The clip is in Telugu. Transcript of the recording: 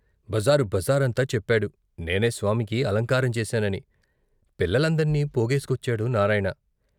బజారు బజారంతా చెప్పాడు, నేనే స్వామికి అలంకారం చేశానని. పిల్లల్నందర్నీ పోగేసు కొచ్చాడు నారాయణ.